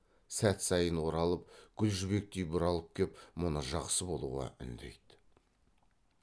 сәт сайын оралып гүл жібектей бұралып кеп мұны жақсы болуға үндейді